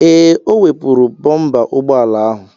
Ee, o wepụrụ bompa ụgbọala ahụ.